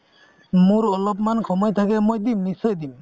মোৰ অলপমান সময় থাকে মই দিম মই নিশ্চয় দিম